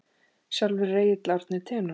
Sjálfur er Egill Árni tenór.